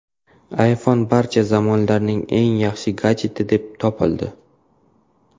iPhone barcha zamonlarning eng yaxshi gadjeti deb topildi.